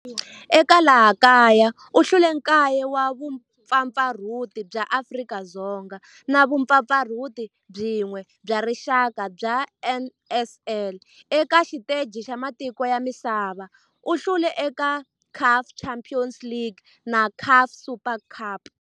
Eka laha kaya u hlule 9 wa vumpfampfarhuti bya Afrika-Dzonga na vumpfampfarhuti byin'we bya rixaka bya NSL. Eka xiteji xa matiko ya misava, u hlule eka CAF Champions League na CAF Super Cup.